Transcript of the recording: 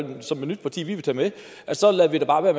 vi som et nyt parti vil tage med så lader vi da bare være